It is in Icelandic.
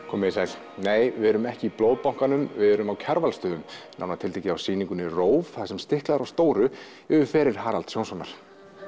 komið þið sæl nei við erum ekki í Blóðbankanum við erum á Kjarvalsstöðum nánar tiltekið á sýningunni róf þar sem stiklað er á stóru yfir feril Haralds Jónssonar